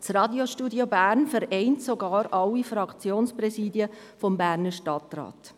Das Radiostudio Bern vereint sogar alle Fraktionspräsidien des Berner Stadtrats.